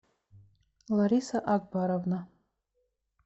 лариса акбаровна